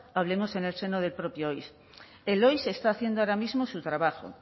hablemos en el seno de propio oiss el oiss está haciendo ahora mismo su trabajo